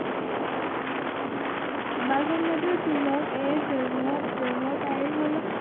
বালগঙ্গাধর তিলক এর জন্ম জন্ম তারিখ হলো